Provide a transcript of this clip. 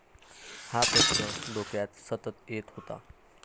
हा प्रश्न डोक्यात सतत येत होता.